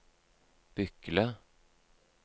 Bykle